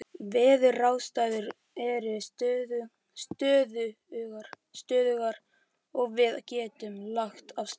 Veðuraðstæður eru stöðugar og við getum lagt af stað.